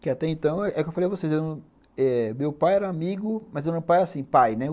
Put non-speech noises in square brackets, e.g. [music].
Que até então, é o que eu falei a vocês, [unintelligible] eh meu pai era amigo, mas meu pai era assim, pai, né?